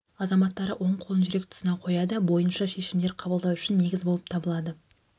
азаматтары оң қолын жүрек тұсына қояды бойынша шешімдер қабылдау үшін негіз болып табылады